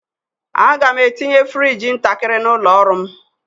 Aga m etinye frigi ntakịrị n'ụlọ ọrụ m.